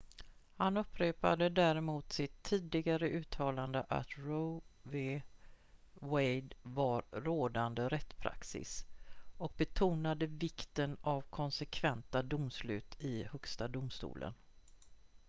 "han upprepade däremot sitt tidigare uttalande att roe v. wade var "rådande rättspraxis" och betonade vikten av konsekventa domslut i högsta domstolen.